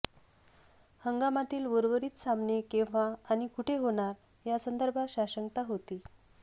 हंगामातील उर्वरित सामने केव्हा आणि कुठे होणार यासंदर्भात साशंकता होती